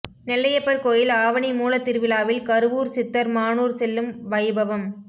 நெல்லையப்பர் கோயில் ஆவணி மூலத்திருவிழாவில் கருவூர் சித்தர் மானூர் செல்லும் வைபவம்